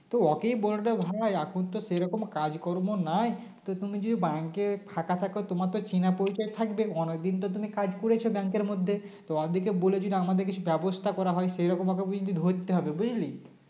তো ওকেই বলে দে ভাই এখনতো সেইরকম কাজকর্ম নেই তো তুমি যদি Bank এ ফাঁকা থাকো তোমার তো চেনা পরিচয় থাকবে অনেকদিন তো তুমি কাজ করেছো bank এর মধ্যে তো ওদেরকে বলে দিন আমাদের কিছু ব্যবস্থা করা হয় সেরকমভাবে ওকে যদি ধরতে হবে বুঝলি